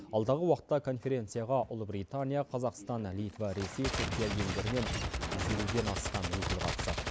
алдағы уақытта конференцияға ұлыбритания қазақстан литва ресей түркия елдерінен жүз елуден астам өкіл қатысады